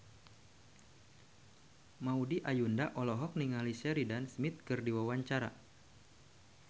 Maudy Ayunda olohok ningali Sheridan Smith keur diwawancara